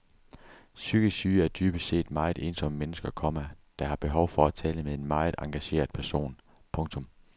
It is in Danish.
Psykisk syge er dybest set meget ensomme mennesker, komma der har behov for at tale med en meget engageret person. punktum